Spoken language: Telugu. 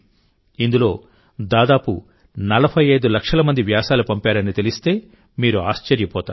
ఇందులో దాదాపు 45 లక్షల మంది వ్యాసాలు పంపారని తెలిస్తే మీరు ఆశ్చర్యపోతారు